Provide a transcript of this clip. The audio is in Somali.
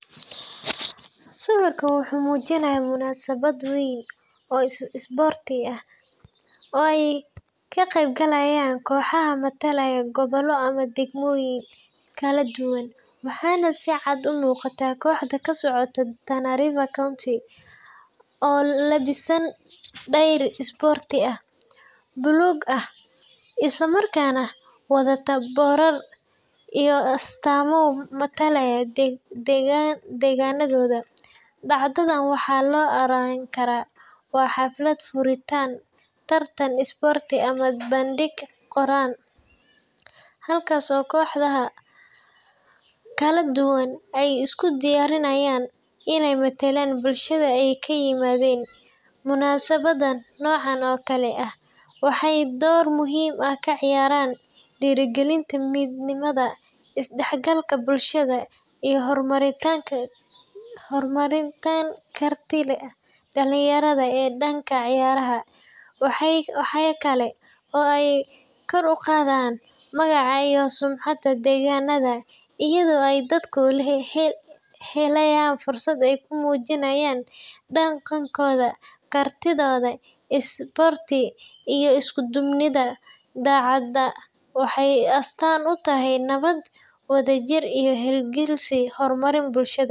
Sawirka wuxuu muujinayaa munaasabad weyn oo isboorti ah oo ay ka qaybgalayaan kooxo matalaya gobollo ama degmooyin kala duwan, waxaana si cad u muuqata kooxda ka socota Tana River County oo u labisan dhar isboorti buluug ah isla markaana wadata boorar iyo astaamo matalaya deegaanadooda. Dhacdadan waxaa la oran karaa waa xaflad furitaan tartan isboorti ama bandhig qaran, halkaas oo kooxaha kala duwan ay isku diyaarinayaan inay metelaan bulshada ay ka yimaadeen. Munaasabadaha noocan oo kale ah waxay door muhiim ah ka ciyaaraan dhiirrigelinta midnimada, isdhexgalka bulshada, iyo horumarinta kartida dhalinyarada ee dhanka ciyaaraha. Waxa kale oo ay kor u qaadaan magaca iyo sumcadda deegaanada iyadoo ay dadku helayaan fursad ay ku muujiyaan dhaqankooda, kartidooda isboorti, iyo isku duubnidooda. Dhacdadan waxay astaan u tahay nabad, wadajir iyo hiigsiga horumarin bulshada.